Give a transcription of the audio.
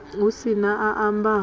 hu si na a ambaho